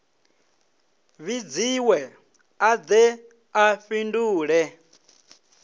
vhidziwe a de a fhindule